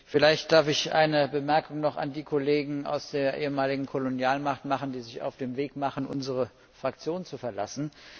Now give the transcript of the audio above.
Vielleicht darf ich noch eine Bemerkung an die Kollegen aus der ehemaligen Kolonialmacht richten, die sich auf den Weg machen, unsere Fraktion zu verlassen.